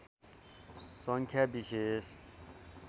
सङ्ख्या विशेष